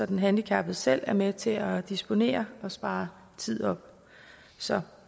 den handicappede selv var med til at disponere og spare tid op så